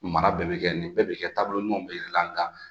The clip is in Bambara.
Mara bɛ bi kɛ nin bɛɛ bi kɛ taabolo ɲɔgɔn bi yiri la nga